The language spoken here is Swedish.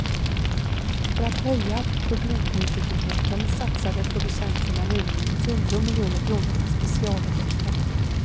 För att höja publiknyfikenheten satsade producenterna nyligen tio miljoner kronor på specialeffekter.